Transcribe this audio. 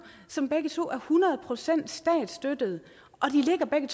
som begge to er hundrede procent statsstøttede og de ligger begge